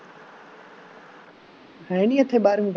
ਹੈ ਨਹੀਂ ਇੱਥੇ ਬਾਰਵੀਂ